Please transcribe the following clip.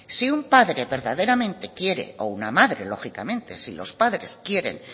si un padre verdaderamente quiere o una madre lógicamente si los padres quieren